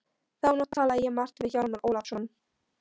Þá nótt talaði ég margt við Hjálmar Ólafsson.